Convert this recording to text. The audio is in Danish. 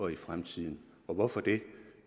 i fremtiden hvorfor det